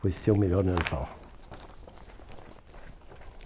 Foi seu melhor Natal.